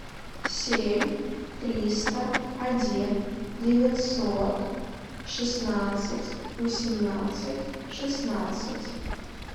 семь триста один девятьсот шестнадцать восемнадцать шестнадцать